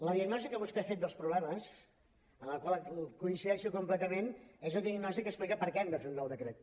la diagnosi que vostè ha fet dels problemes amb la qual hi coincideixo completament és una diagnosi que explica per què hem de fer un nou decret